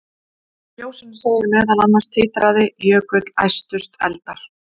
Í ljóðinu segir meðal annars: Titraði jökull, æstust eldar,